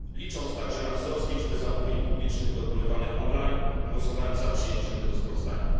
Licząc także na wzrost zamówień publicznych dokonywanych on line, głosowałem za przyjęciem tego sprawozdania.